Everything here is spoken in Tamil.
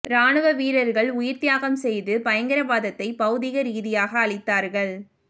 இராணுவ வீரர்கள் உயிர் தியாகம் செய்து பயங்கரவாதத்தை பௌதீக ரீதியாக அழித்தார்கள்